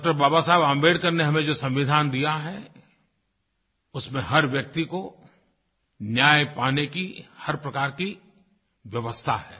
डॉ बाबा साहब आंबेडकर ने हमें जो संविधान दिया है उसमे हर व्यक्ति को न्याय पाने की हर प्रकार की व्यवस्था है